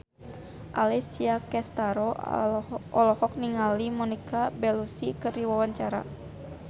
Alessia Cestaro olohok ningali Monica Belluci keur diwawancara